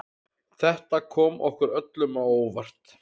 Þetta kom okkur öllum á óvart